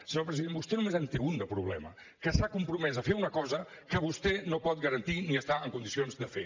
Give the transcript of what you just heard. senyor president vostè només en té un de problema que s’ha compromès a fer una cosa que vostè no pot garantir ni està en condicions de fer